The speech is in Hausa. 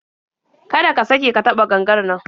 Kada ka sake ka taɓa gangar nan